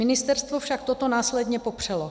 Ministerstvo však toto následně popřelo.